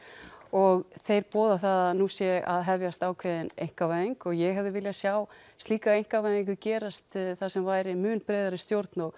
og þeir boða það að nú sé að hefjast ákveðin einkavæðing og ég hefði viljað sjá slíka einkavæðingu gerast þar sem væri mun breiðari stjórn og